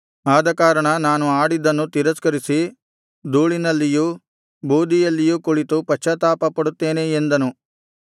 ಆದಕಾರಣ ನಾನು ಆಡಿದ್ದನ್ನು ತಿರಸ್ಕರಿಸಿ ಧೂಳಿನಲ್ಲಿಯೂ ಬೂದಿಯಲ್ಲಿಯೂ ಕುಳಿತು ಪಶ್ಚಾತ್ತಾಪಪಡುತ್ತೇನೆ ಎಂದನು